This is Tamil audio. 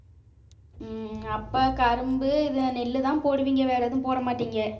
ஹம் அப்பா கரும்பு இது நெல்லுதான் போடுவீங்க வேற எதுவும் போடமாட்டீங்க